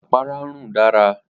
Apara n run dara.